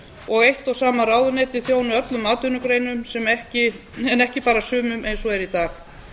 og eitt og sama ráðuneyti þjóni öllum atvinnugreinum en ekki bara sumum eins og eru í dag